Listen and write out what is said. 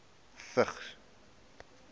vigs